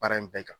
Baara in bɛɛ kan